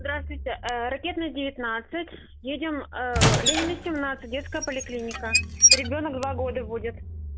здравствуйте ракетная девятнадцать едем ленина семнадцать детская поликлиника ребёнок два года будет